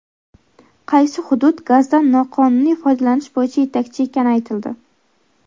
Qaysi hudud gazdan noqonuniy foydalanish bo‘yicha yetakchi ekani aytildi.